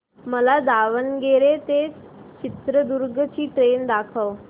मला दावणगेरे ते चित्रदुर्ग ची ट्रेन दाखव